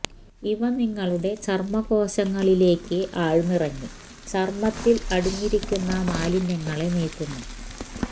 ഇവ നിങ്ങളുടെ ചര്മ്മ കോശങ്ങളിലേക്ക് ആഴ്ന്നിറങ്ങി ചര്മ്മത്തില് അടിഞ്ഞരിക്കുന്ന മാലിന്യങ്ങളെ നീക്കുന്നു